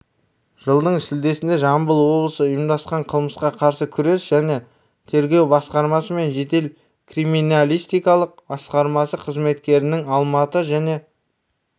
жылдың шілдесінде жамбыл облысы ұйымдасқан қылмысқа қарсы күрес жәнетергеу басқармасы мен жедел-криминалистикалық басқармасы қызметкерлерінің алматы және